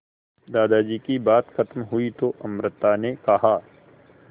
दादाजी की बात खत्म हुई तो अमृता ने कहा